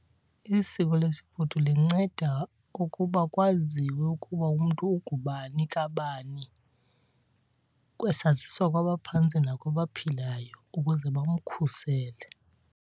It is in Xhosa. Isiko lesifudu linceda ukuba kwaziwe ukuba umntu ungubani kabani, kwesaziswa kwabaphantsi nakwabaphilayo ukuze bamkhusele.